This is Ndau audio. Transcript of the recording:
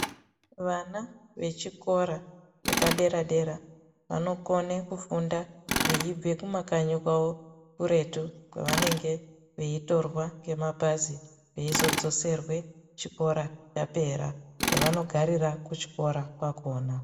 Vana vechikora vepadera-dera vanokone kufunda veibve kumakanyi kwavo kuretu kwevanenge veitorwa ngemabhazi veizodzoserwe chikoro chapera kwevanogarira kuchikora kwakhona.